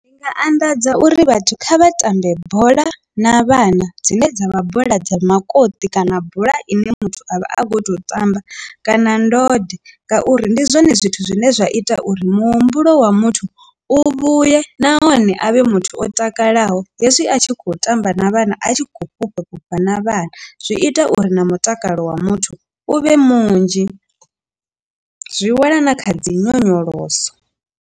Ndi nga anḓadza uri vhathu kha vha tambe bola na vhana dzine dzavha bola dza makoti kana bola ine muthu avha a kho to tamba kana ndode ngauri ndi zwone zwithu zwine zwa ita uri muhumbulo wa muthu u vhuye nahone a vhe muthu o takalaho, hezwi a tshi khou tamba na vhana a tshi khou fhufha fhufha na vhana zwi ita uri na mutakalo wa muthu u vhe munzhi zwi wela na kha dzi nyonyoloso.